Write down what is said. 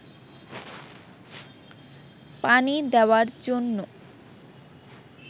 পানি দেওয়ার জন্য